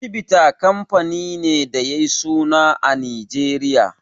Chivita kamfani ne da yayi suna a Nijeriya.